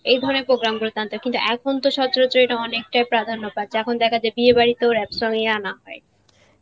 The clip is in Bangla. এ ধরনের program গুলোতে আনত কিন্তু এখন তো সচরাচর এটা অনেকটাই প্রাধান্য পাচ্ছে এখন দেখা যায় বিয়েবাড়িতেও rap song ই আনা হয়.